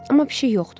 Amma pişik yoxdur.